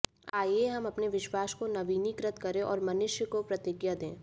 आइए हम अपने विश्वास को नवीनीकृत करें और मनुष्य को प्रतिज्ञा दें